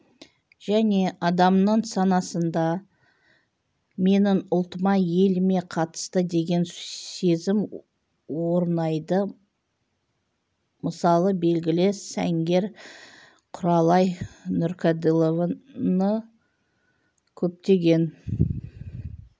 және адамның санасында менің ұлтыма еліме қатысты деген сезім орнайды мысалы белгілі сәнгер құралай нұрқаділованы көптеген